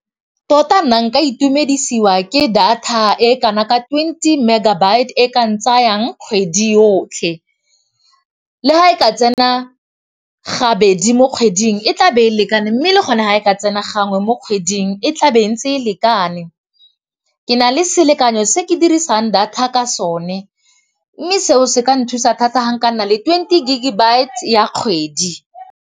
Tota nna nka itumedisiwa ke data e kana ka twenty megabytes e kang tsayang kgwedi yotlhe. Le ga e ka tsena gabedi mo kgweding e tlabe e lekane mme le go ne ga e ka tsena gangwe mo kgweding e tla be ntse e lekane. Ke na le selekanyo se ke dirisang data ka sone mme seo se ka nthusa thata ga nka nna le twenty gig-e bytes ya kgwedi.